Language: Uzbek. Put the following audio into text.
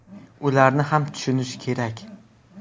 Ularni ham tushunish kerak.